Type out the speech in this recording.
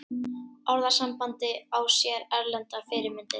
Orðasambandið á sér erlendar fyrirmyndir.